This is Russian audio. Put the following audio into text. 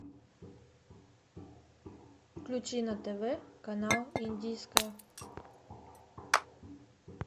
включи на тв канал индийское